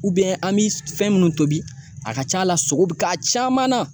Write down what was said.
an mi fɛn munnu tobi a ka ca la, sogo bi k'a caman na